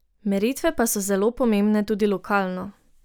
Meritve pa so zelo pomembne tudi lokalno.